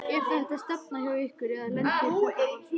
Er þetta stefna hjá ykkur eða lendir þetta bara svona?